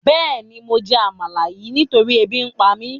Béèni mo jẹ́ àmalà yin nitori ébi ǹpa mi